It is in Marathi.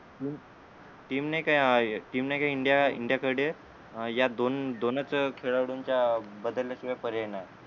टीम नाही का टीम नाही का इंडिया इंडिया कडे या दोन दोनच खेळाडूंचा बदलल्या शिवाय पर्याय नाही